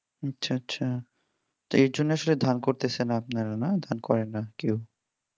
আচ্ছা আচ্ছা তাই এই জন্য আসলে ধান করতেছে না আপনারা না ধান করেন না কেউ